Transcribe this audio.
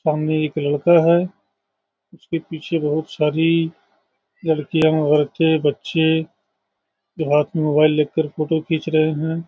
सामने एक लड़का है उसके पीछे बहुत सारी लड़कियां औरते बच्‍चे जो हाथ में मोबाईल लेके फोटो खीच रहे है ।